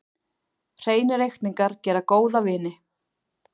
Hreinir reikningar gera góða vini.